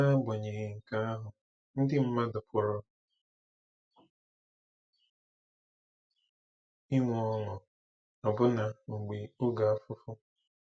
N'agbanyeghị nke ahụ, ndị mmadụ pụrụ inwe ọṅụ, ọbụna mgbe oge afụfụ.